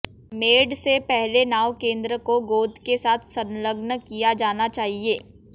made से पहले नाव केंद्र को गोंद के साथ संलग्न किया जाना चाहिए